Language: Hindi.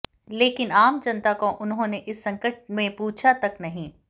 लेकिन आम जनता को उन्होंने इस संकट में पूछा तक नहीं